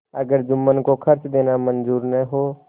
अगर जुम्मन को खर्च देना मंजूर न हो